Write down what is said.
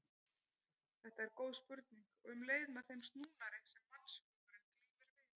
Þetta er góð spurning og um leið með þeim snúnari sem mannshugurinn glímir við.